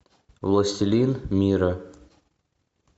властелин мира